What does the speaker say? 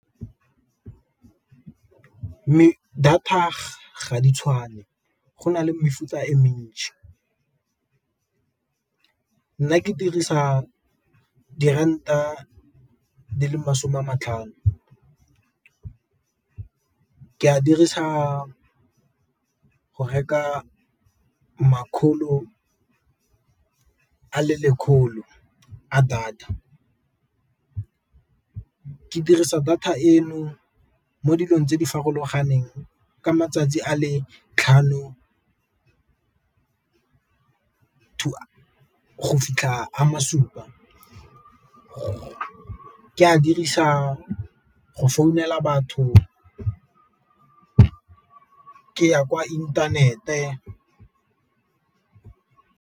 Data ga di tshwane go na le mefuta e , nna ke dirisa diranta di le masome a matlhano. Ke a dirisa go reka makgolo a le lekgolo a data, ke dirisa data eno mo dilong tse di farologaneng ka matsatsi a le tlhano go fitlha a ma supa go ke a dirisa go founela batho, ke ya kwa inthanete.